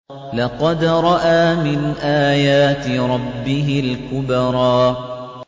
لَقَدْ رَأَىٰ مِنْ آيَاتِ رَبِّهِ الْكُبْرَىٰ